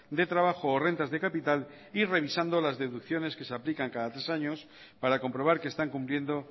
de trabajo o rentas de capital y revisando las deducciones que se aplican cada tres años para comprobar que están cumpliendo